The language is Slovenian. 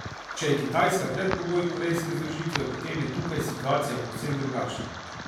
Če je Kitajska predpogoj korejske združitve, potem je tukaj situacija povsem drugačna.